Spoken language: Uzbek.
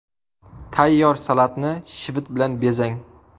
Tayyor salatni shivit bilan bezang.